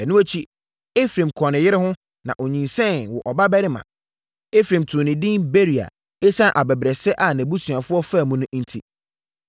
Ɛno akyi, Efraim kɔɔ ne yere ho, na ɔnyinsɛnee, woo ɔbabarima. Efraim too no edin Beria ɛsiane abɛbrɛsɛ a nʼabusuafoɔ faa mu no enti.